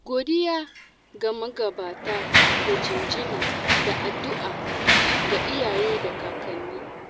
Godiya ga magabata da jinjina, da addu'a ga iyaye da kakanni.